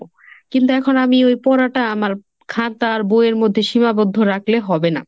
কিন্তু এখন আমি ওই পড়াটা আমার খাতা আর বইয়ের মধ্যে সীমাবদ্ধ রাখলে হবে না।